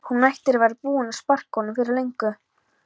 Hún ætti að vera búin að sparka honum fyrir löngu